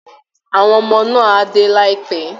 Àwọn ọmọ náà á dé láìpẹ́